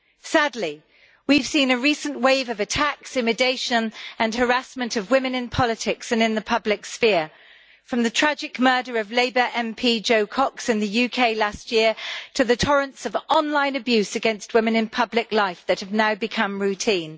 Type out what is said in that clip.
Sadly, we have seen a recent wave of attacks, intimidation and harassment of women in politics and in the public sphere, from the tragic murder of Labour MP Jo Cox in the UK last year to the torrents of online abuse against women in public life that have now become routine.